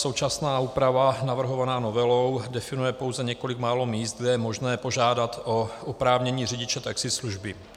Současná úprava navrhovaná novelou definuje pouze několik málo míst, kde je možné požádat o oprávnění řidiče taxislužby.